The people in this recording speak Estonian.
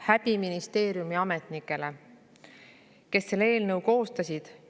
Häbi ministeeriumi ametnikele, kes selle eelnõu koostasid!